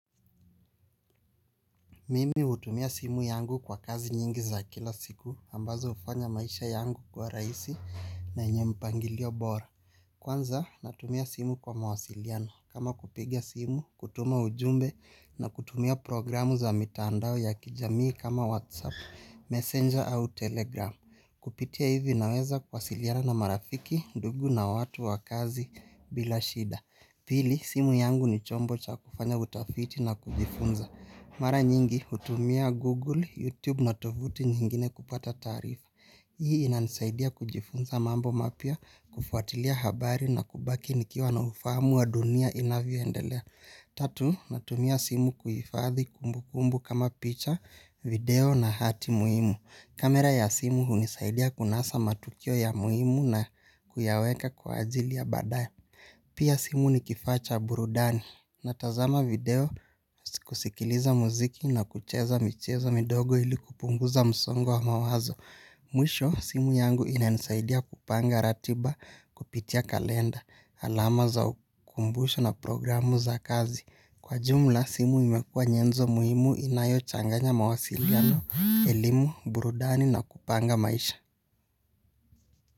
Mimi utumia simu yangu kwa kazi nyingi za kila siku ambazo ufanya maisha yangu kuwa raisi na enye mpangilio bora. Kwanza natumia simu kwa mawasiliano kama kupiga simu, kutuma ujumbe na kutumia programu za mitandao ya kijamii kama whatsapp, messenger au telegram. Kupitia hivi naweza kwasiliana na marafiki, ndugu na watu wa kazi bila shida. Pili simu yangu ni chombo cha kufanya utafiti na kujifunza. Mara nyingi utumia Google, YouTube na tovuti nyingine kupata tarifa. Hii ina nisaidia kujifunza mambo mapia kufuatilia habari na kubaki nikiwa na ufamu wa dunia inavyo endelea. Tatu, natumia simu kuyifadhi kumbu kumbu kama picha, video na hati muimu. Kamera ya simu unisaidia kunasa matukio ya muimu na kuyaweka kwa ajili ya badaye. Pia simu ni kifa cha burudani na tazama video kusikiliza muziki na kucheza michezo midogo ili kupunguza msongo wa mawazo. Mwisho simu yangu ina nisaidia kupanga ratiba kupitia kalenda alama za ukumbusho na programu za kazi. Kwa jumla simu imekua nyenzo muhimu inayo changanya mawasiliano, elimu, burudani na kupanga maisha.